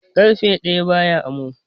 Karfe daya ba ya amo